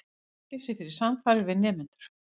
Í fangelsi fyrir samfarir við nemendur